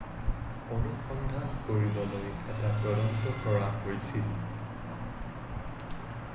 অনুসন্ধান কৰিবলৈ এটা তদন্ত কৰা হৈছিল